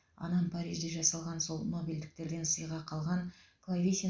анам парижде жасалған сол нобельдіктерден сыйға қалған клавесин